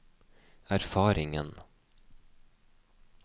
erfaringen